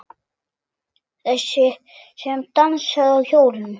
Þessi sem dansaði á hólnum.